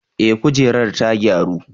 Eh, kujerar ta gyaru.